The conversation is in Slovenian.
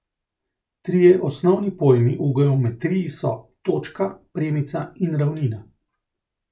Trije osnovni pojmi v geometriji so točka, premica in ravnina.